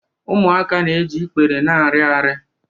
Ụmụaka na-eji ikpere na-arị arị